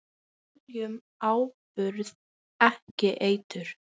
Við seljum áburð, ekki eitur.